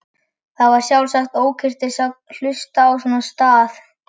Það var sjálfsagt ókurteisi að hlusta á svona stað.